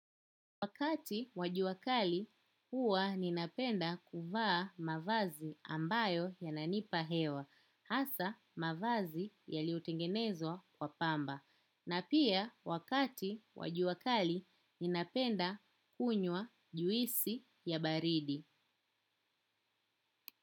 Wakati wa jua kali huwa ninapenda kuvaa mavazi ambayo yananipa hewa, hasa mavazi yaliotengenezwa kwa pamba. Na pia wakati wa jua kali ninapenda kunywa juisi ya baridi.